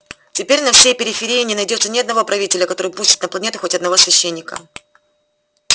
теперь на всей периферии не найдётся ни одного правителя который пустит на планету хоть одного священника